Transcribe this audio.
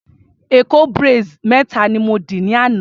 Èkó braids méta ni mo dì lánàá.